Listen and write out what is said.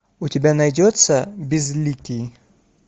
у тебя найдется безликий